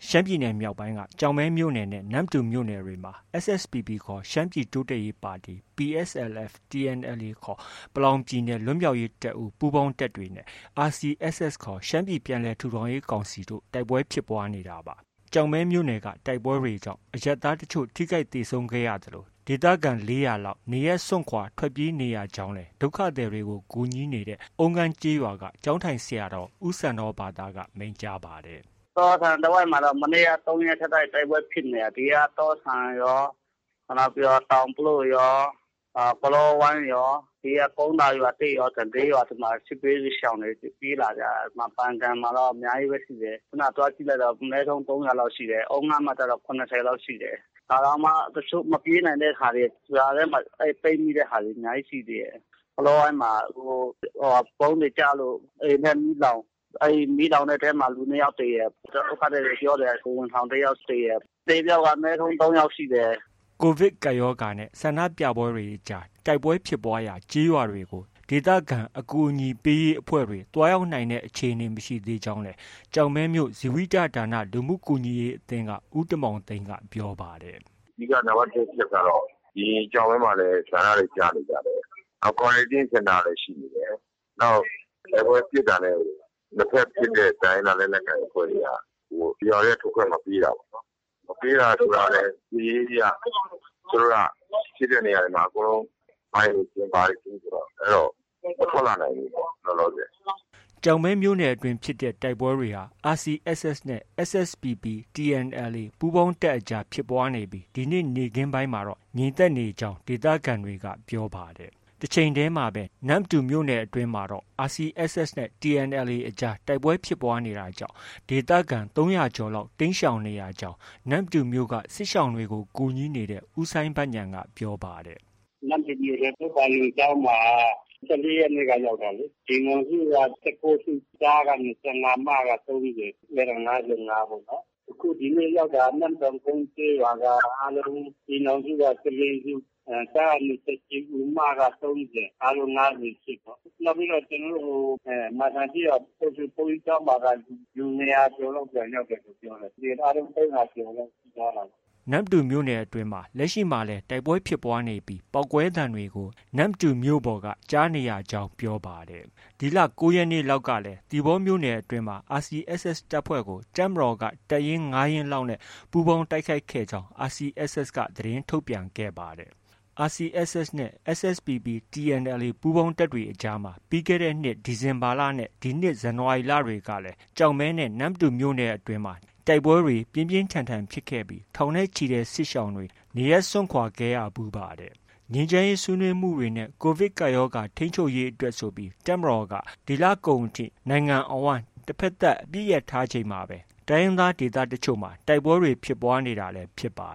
ရှမ်းပြည်နယ်မြောက်ပိုင်းက ကျောက်မဲမြို့နယ်နဲ့ နမ္မတူမြို့နယ်တွေမှာ SSPP ခေါ် ရှမ်းပြည်တိုးတက်ရေးပါတီ၊ PSLF/TNLA ခေါ် ပလောင်ပြည်နယ် လွတ်မြောက်ရေးတပ်ဦး ပူးပေါင်းတပ်တွေနဲ့ RCSS ခေါ် ရှမ်းပြည်ပြန်လည်ထူထောင်ရေးကောင်စီတို့ တိုက်ပွဲတွေ ဖြစ်ပွားနေတာပါ။ ကျောက်မဲမြို့နယ်က တိုက်ပွဲတွေကြောင့် အရပ်သားတချို့ ထိခိုက်သေဆုံးခဲ့ရသလို၊ ဒေသခံ ၄၀၀ လောက် နေရပ်စွန့်ခွာ ထွက်ပြေးနေရကြောင်းလည်း ဒုက္ခသည်တွေကို ကူညီနေတဲ့ အုံးငန်းရွာ ကျောင်းထိုင်ဆရာတော် ဦးစန္ဒောဘာသက မိန့်ကြားပါတယ်။ “တော့ဆန်တဝိုက်မှာတော့ မနေ့က ၃ ရက်ဆက်တိုက် တိုက်ပွဲဖြစ်နေတာ။ ဒီက တော့ဆန်ရော၊ ပြီးတော့ တောင်ပလို့ရော၊ ကလောဝိုင်းရော၊ ကုန်းသာရွာသစ်ရော၊ လေးရွာ ဒီမှာ စစ်ဘေးရှောင်တွေ ပြေးလာကြတာ။ ဒီမှာ ပန်ကန်မှာတော့ အများကြီးပဲ ရှိတယ်။ ခုဏက သွားကြည့်လိုက်တော့ အနည်းဆုံး ၃၀၀ လောက်ရှိတယ်။ အုံးငန်းမှာ ကျတော့ ၇၀ လောက်ရှိတယ်။ ဒါတောင်မှ မပြေးနိုင်တဲ့ဟာတွေ၊ ရွာထဲမှာ ပိတ်မိတာတွေ အများကြီး ရှိတယ်။ ကလောဝိုင်းမှာ ဗုံးတွေကျလို့ အိမ်လည်း မီးလောင်၊ မီးလောင်တဲ့အထဲမှာ လူ နှစ်ယောက်သေတယ်။ ဒုက္ခသည်တွေ ပြောနေတာ ကိုယ်ဝန်ဆောင်တစ်ယောက်သေတယ်။ အသေအပျောက်က အနည်းဆုံး သုံးယောက်ရှိတယ်။” ကိုဗစ်ကပ်ရောဂါနဲ့ ဆန္ဒပြပွဲတွေကြား တိုက်ပွဲဖြစ်ပွားရာ ကျေးရွာတွေကို ဒေသခံအကူအညီပေးရေးအဖွဲ့တွေ သွားရောက်နိုင်တဲ့ အခြေအနေ မရှိသေးကြောင်းလည်း ကျောက်မဲမြို့ ဇီဝိတလူမှုကူညီရေးအသင်းက ဦးတင်မောင်သိန်းက ပြောပါတယ်။ “အဓိက နံပတ်တစ်အချက်ကတော့ ဒီကျောက်မဲမှာလည်း ဆန္ဒတွေ ပြနေကြတယ်။ Quarantine စင်တာကလည်း ရှိနေတယ်။ နောက် တိုက်ပွဲဖြစ်တာနဲ့ နှစ်ဘက်ဖြစ်တဲ့ တိုင်းရင်းသားလက်နက်ကိုင်အဖွဲ့တွေက ရွာထဲက ထွက်ခွင့်မပေးတာပေါ့။ မပေးတာဆိုတာကလည်း စစ်ရေးအရ ဖြစ်တဲ့နေရာတွေမှာ အကုန်လုံး မိုင်းတွေခင်း၊ ဘာတွေခင်းဆိုတော့ မထွက်လာနိုင်ဘူးပေါ့ လောလောဆယ်။” ကျောက်မဲမြို့နယ်အတွင်းဖြစ်တဲ့တိုက်ပွဲတွေဟာ RCSS နဲ့ SSPP ၊ TNLA ပူးပေါင်းတပ်အကြားဖြစ်ပွားနေပြီး ဒီနေ့ နေ့ခင်းပိုင်းမှာတော့ ငြိမ်သက်နေကြောင်း ဒေသခံတွေက ပြောပါတယ်။ တချိန်တည်းမှာပဲ နမ္မတူမြို့နယ်အတွင်းမှာတော့ RCSS နဲ့ TNLA အကြား တိုက်ပွဲဖြစ်ပွားနေတာကြောင့် ဒေသခံ ၃၀၀ ကျော်လောက် တိမ်းရှောင်နေရကြောင်း နမ္မတူမြို့က စစ်ရှောင်တွေကို ကူညီနေတဲ့ ဦးစိုင်းဘဉာဏ်က ပြောပါတယ်။ “နမ္မတူမြို့ထဲ ပုဗ္ပာရုံကျောင်းမှာက ၁၄ ရက်နေ့က ရောက်တာလေ အိမ်ထောင်စုက ၁၉စု၊ ကျားက ၂၅၊ မက ၃၀ ၊ အဲဒါ ၅၅ ပေါ့နော်။ အခုဒီနေ့ရောက်တာက နမ့်စံကုန်းကျေးရွာက အားလုံး အိမ်ထောင်စုက ၁၄ စု၊ ကျားက ၂၈ ဦး၊ မက ၃၀၊ အားလုံး ၅၈ ပေါ့။ နောက်ပြီးတော့ မန်စံကျေးရွာဘုန်းကြီးကျောင်းမှာက လူ ၂၀၀ ကျော်လောက် ပြန်ရောက်တယ်လို့ ပြောတယ်။ အားလုံး ၃၀၀ ကျော်တော့ ရှိသွားတာပေါ့။ ” နမ္မတူမြို့နယ်အတွင်းမှာ လက်ရှိမှာလည်း တိုက်ပွဲဖြစ်ပွားနေပြီး ပေါက်ကွဲသံတွေကို နမ္မတူမြို့ပေါ်ကပါ ကြားနေရကြောင်း ပြောပါတယ်။ ဒီလ ၉ ရက်နေ့လောက်ကလည်း သီပေါမြို့နယ်အတွင်းမှာ RCSS တပ်ဖွဲ့ကို တပ်မတော်က တပ်ရင်း ၅ ရင်းလောက်နဲ့ ပူးပေါင်း တိုက်ခိုက်ခဲ့ကြောင်း RCSS က သတင်းထုတ်ပြန်ခဲ့ပါတယ်။ RCSS နဲ့ SSPP၊ TNLA ပူးပေါင်းတပ်တွေအကြားမှာ ပြီးခဲ့တဲ့နှစ် ဒီဇင်ဘာနဲ့ ဇန်နဝါရီလတွေကလည်း ကျောက်မဲနဲ့ နမ္မတူမြို့နယ်အတွင်း တိုက်ပွဲတွေ ပြင်းပြင်းထန်ထန်ဖြစ်ခဲ့ပြီး ထောင်နဲ့ချီတဲ့ စစ်ရှောင်တွေ နေရပ်စွန့်ခွာခဲ့ရဖူးပါတယ်။ ငြိမ်းချမ်းရေးဆွေးနွေးမှုတွေနဲ့ ကိုဗစ်ကပ်ရောဂါ ထိန်းချုပ်ရေးအတွက်ဆိုပြီး တပ်မတော်က ဒီလကုန်အထိ နိုင်ငံအဝန်း တဘက်သတ် အပစ်ရပ်ထားချိန်မှာပဲ တိုင်းရင်းသားဒေသတချို့မှာ တိုက်ပွဲတွေ ဖြစ်ပွားနေတာလည်း ဖြစ်ပါ